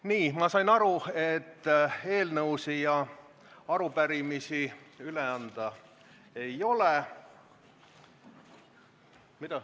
Nii, ma sain aru, et eelnõusid ja arupärimisi, mida üle anda, ei ole.